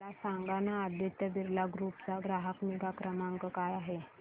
मला सांगाना आदित्य बिर्ला ग्रुप चा ग्राहक निगा क्रमांक काय आहे